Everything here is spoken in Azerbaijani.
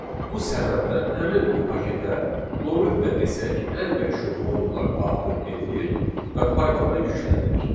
Bu səbəbdən həmin bu paketə, loril də desək, ən məşhur modullar daxil edilir və Pythona yüklənilir.